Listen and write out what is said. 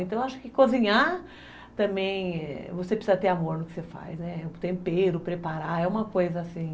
Então acho que cozinhar também, você precisa ter amor no que você faz, né, tempero, preparar, é uma coisa assim...